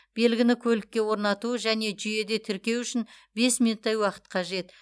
белгіні көлікке орнату және жүйеде тіркеу үшін бес минуттай уақыт қажет